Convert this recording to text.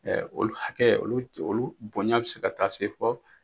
Ɛɛ olu hakɛ, olu boɲa be se ka taa se fɔ